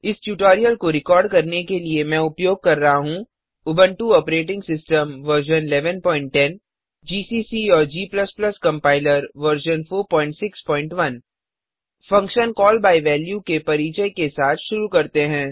इस ट्यूटोरियल को रिकॉर्ड करने के लिए मैं उपयोग कर रहा हूँ Ubuntu operating system version 1110 GCC और g compiler version 461 functions call by value के परिचय के साथ शुरू करते हैं